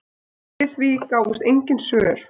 Við því gáfust engin svör.